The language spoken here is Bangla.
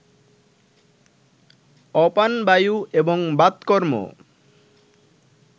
অপানবায়ু এবং বাতকর্ম